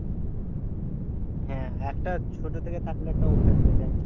হ্যাঁ একটা ছোট থেকে থাকলে তো অভ্যাস হয়ে যায়।